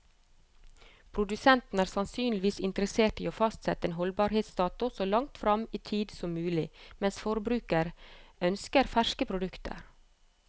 Produsenten er sannsynligvis interessert i å fastsette en holdbarhetsdato så langt frem i tid som mulig, mens forbruker ønsker ferske produkter.